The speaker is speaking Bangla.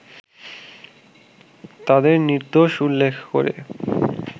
তাদের নির্দোষ উল্লেখ করে